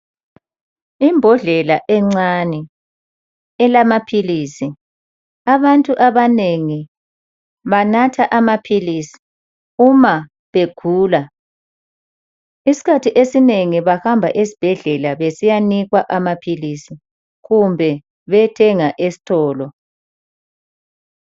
Imbodlela encane elamaphilisi, abantu abanengi banatha amaphilisi uma begula, isikhathi esinengi bahamba esibhedlela besiyanikwa amaphilisi kumbe beyethenga esitolo.